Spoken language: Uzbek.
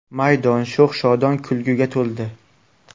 Maydon sho‘x-shodon kulguga to‘ldi.